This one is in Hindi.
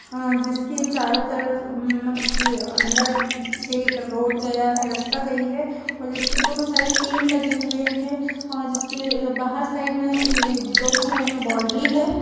ह जिसके चारों तरफ म अ अंदर से एक रोड गया है रास्ता गया है जिसके दोनों साइड पेड़ लगे हुए है और जिसके बाहर साइड मे अ दोनों साइड मे बॉन्डरी है।